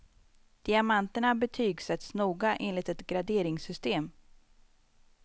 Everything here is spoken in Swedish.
Diamanterna betygsätts noga enligt ett graderingssystem.